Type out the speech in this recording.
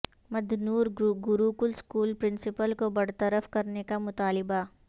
Madnoor Gurukul school principal کو برطرف کرنے کا مطالبہ